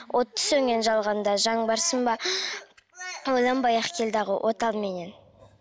оты сөнген жалғанда жан барсың ба ойланбай ақ кел дағы от ал меннен